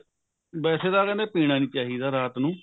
ਵੈਸੇ ਤਾਂ ਕਹਿੰਦੇ ਪੀਣਾ ਨਹੀਂ ਚਾਹਿਦਾ ਰਾਤ ਨੂੰ